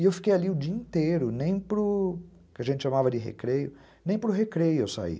E eu fiquei ali o dia inteiro, nem para o que a gente chamava de recreio, nem para o recreio eu saí.